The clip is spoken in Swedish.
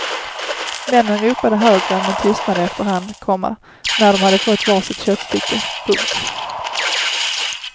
Männen ropade högre men tystnade efter hand, komma när de hade fått var sitt köttstycke. punkt